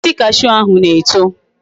Osisi cashew ahu na eto